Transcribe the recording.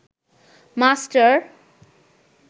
master